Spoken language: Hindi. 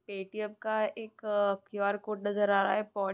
ए.टी.एम का एक उः- कियर कोड नजर आ रहा हैं ।